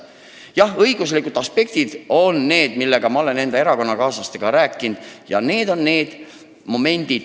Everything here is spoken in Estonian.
Jah, ma olen enda erakonnakaaslastega rääkinud õiguslikest aspektidest.